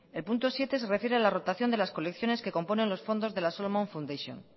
el punto siete se refiere a la rotación de las colecciones que componen los fondos de la solomon fundation